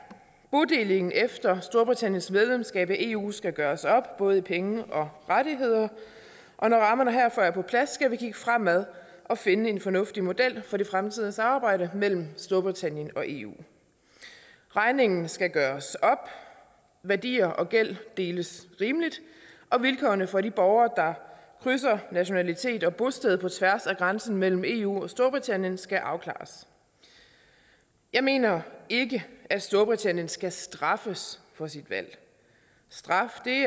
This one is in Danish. bodelingen efter storbritanniens medlemskab af eu skal gøres op både i penge og rettigheder og når rammerne herfor er på plads skal vi kigge fremad og finde en fornuftig model for det fremtidige samarbejde mellem storbritannien og eu regningen skal gøres op værdier og gæld deles rimeligt og vilkårene for de borgere krydser nationalitet og bosted på tværs af grænsen mellem eu og storbritannien skal afklares jeg mener ikke at storbritannien skal straffes for sit valg straf